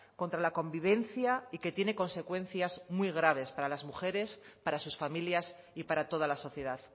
contra la convivencia y que tiene consecuencias muy graves para las mujeres para sus familias y para toda la sociedad